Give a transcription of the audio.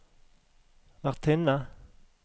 vertinne